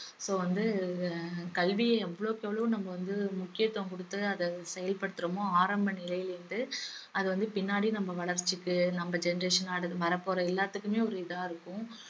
so வந்து அஹ் கல்விய எவ்வளவுக்கு எவ்வளவு நம்ம வந்து முக்கியத்துவம் குடுத்து அத செயல்படுத்துறோமோ ஆரம்ப நிலையில இருந்து அது வந்து பின்னாடி நம்ம வளர்ச்சிக்கு நம்ம generation அடு~ வரப்போற எல்லாத்துக்குமே ஒரு இதா இருக்கும்